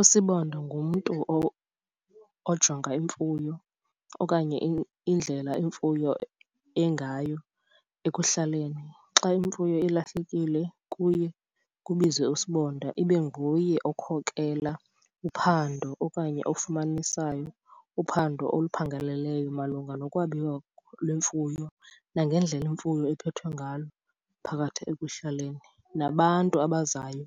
USibonda ngumntu ojonga imfuyo okanye indlela imfuyo engayo ekuhlaleni. Xa imfuyo ilahlekile kuye kubizwe uSibonda ibe nguye okukhokelela uphando okanye ofumanisayo uphando oluphangaleleyo malunga nokwabiwa lwemfuyo nangendlela imfuyo ephethwe ngalo phakathi ekuhlaleni. Nabantu abazayo